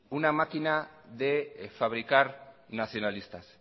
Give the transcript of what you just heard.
una máquina de fabricar nacionalistas